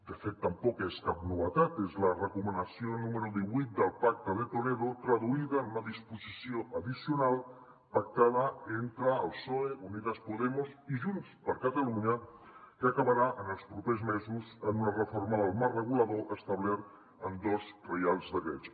de fet tampoc és cap novetat és la recomanació número divuit del pacte de toledo traduïda en una disposició addicional pactada entre el psoe unidas podemos i junts per catalunya que acabarà en els propers mesos en una reforma del marc regulador establert en dos reials decrets